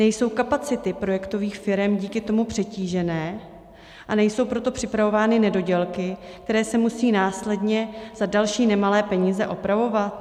Nejsou kapacity projektových firem díky tomu přetížené a nejsou proto připravovány nedodělky, které se musí následně za další nemalé peníze opravovat?